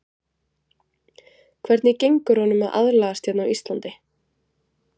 Hvernig gengur honum að aðlagast hérna á Íslandi?